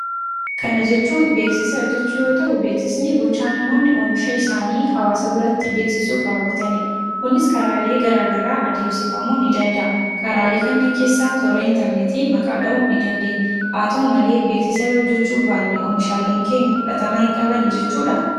Kana jechuun beeksisa jechuu yoo ta'u, beeksisni gochaa namoonni oomisha isaanii hawaasa biratti beeksisuuf raawwatanidha. Kunis karaalee garaa garaa adeemsifamuu ni danda'a. Karaalee kanneen keessaa toora interneetii maqaa dha'uun ni dandeenya. Haa ta'u malee beeksisa yoo hojjechuu baanne oomishaaleen keenya fudhatama hin qabani jechuudhaa?